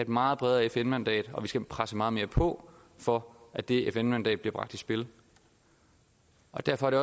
meget bredere fn mandat og vi skal presse meget mere på for at det fn mandat bliver bragt i spil og derfor det